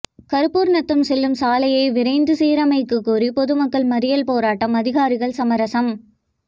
கருப்பூர்நத்தம் செல்லும் சாலையை விரைந்து சீரமைக்ககோரி பொதுமக்கள் மறியல் போராட்டம் அதிகாரிகள் சமரசம்